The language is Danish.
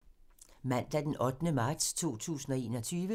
Mandag d. 8. marts 2021